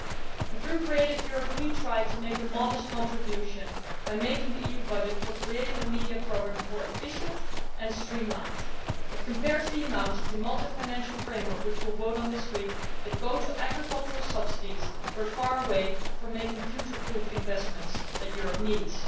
We try, through Creative Europe, to make a modest contribution by making the EU budget for creative and media programmes more efficient and streamlined, but compared to the amount of the Multiannual Financial Framework on which we will vote this week that goes to agricultural subsidies, we fall far short of the future proof investments that Europe needs.